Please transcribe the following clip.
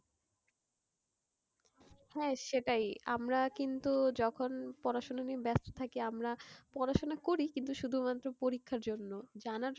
হ্যাঁ সেটাই। আমরা কিন্তু যখন পড়াশোনা নিয়ে ব্যস্ত থাকি আমরা পড়াশোনা করি কিন্তু শুধুমাত্র পরীক্ষার জন্য, জানার জন্য,